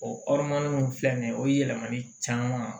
O in filɛ nin ye o ye yɛlɛmali caman